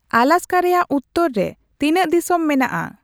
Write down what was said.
ᱟᱞᱟᱥᱠᱟ ᱨᱮᱭᱟᱜ ᱩᱛᱛᱚᱨ ᱨᱮ ᱛᱤᱱᱟᱹᱜ ᱫᱤᱥᱚᱢ ᱢᱮᱱᱟᱜᱼᱟ